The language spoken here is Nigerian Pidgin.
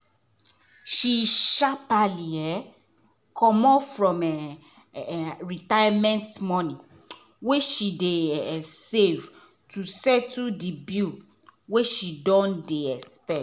she sharpaly um comot from her um retirement money wey she dey um save to settle the bill wey she no dey expect.